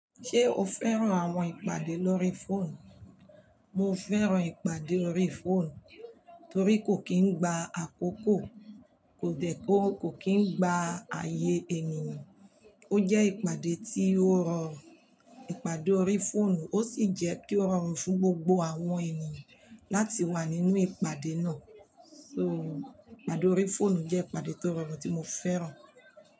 Ṣé o fẹ́ràn àwọn ìpàdé lórí fóònù? Mo fẹ́ràn ìpàdé ori fóònù torí kò kí ń gba àkókò, kò dẹ̀ kó, kò kí ń gba ààyè ènìyàn. Ó jẹ́ ìpàdé tí ó rọrùn, ìpàdé ori fóònù ó sì jẹ́ pé ó rọrùn fún gbogbo àwọn ènìyàn láti wà nínú ìpàdé náà. So ìpàdé ori fóònù jẹ́ ìpàdé tó rọrùn tí mo fẹ́ràn.